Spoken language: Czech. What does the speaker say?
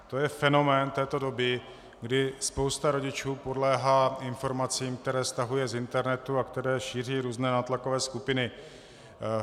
To je fenomén této doby, kdy spousta rodičů podléhá informacím, které stahuje z internetu a které šíří různé nátlakové skupiny.